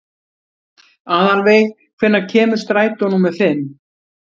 Aðalveig, hvenær kemur strætó númer fimm?